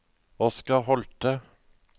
Oscar Holthe